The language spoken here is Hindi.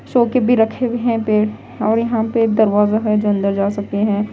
शो के भी रखे हुए हैं पेड़ और यहां पर दरवाजा है जो अंदर जा सकते हैं।